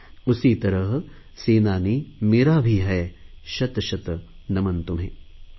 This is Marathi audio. उसी तरह सेनानी मेरा भी है शतशत नमन तुम्हें ।।